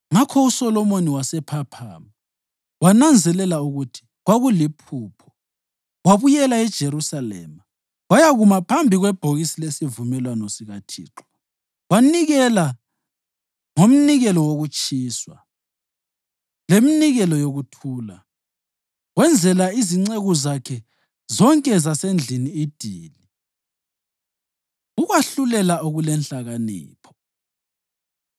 Ngakho uSolomoni wasephaphama, wananzelela ukuthi kwakuliphupho. Wabuyela eJerusalema, wayakuma phambi kwebhokisi lesivumelwano sikaThixo wanikela ngomnikelo wokutshiswa leminikelo yokuthula. Wenzela izinceku zakhe zonke zasendlini idili. Ukwahlulela Okulenhlakanipho